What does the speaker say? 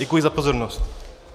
Děkuji za pozornost.